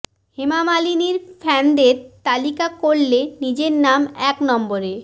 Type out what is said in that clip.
হেমা মালিনীর ফ্যানদের তালিকা করলে নিজের নাম এক নম্বরে